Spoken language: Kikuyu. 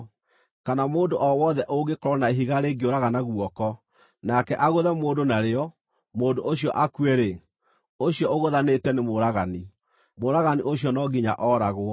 Kana mũndũ o wothe ũngĩkorwo na ihiga rĩngĩũragana guoko, nake agũthe mũndũ narĩo, mũndũ ũcio akue-rĩ, ũcio ũgũthanĩte nĩ mũũragani; mũũragani ũcio no nginya ooragwo.